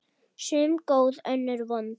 Sum góð, önnur vond.